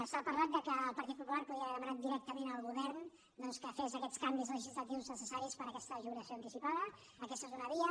s’ha parlat que el partit popular podia haver demanat directament al govern doncs que fes aquests canvis legislatius necessaris per a aquesta jubilació anticipada aquesta és una via